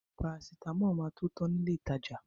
Parasitámọ̀ máa tó tan ní ilé ìtajà.